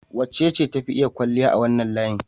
Wacece ta fi iya kwalliya a wannan layin?